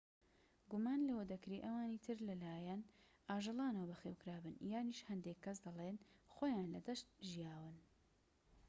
گومان لەوە دەکرێ ئەوانی تر لەلایەن ئاژەڵانەوە بەخێوکرابن یانیش هەندێك کەس دەلێن خۆیان لە دەشت ژیاون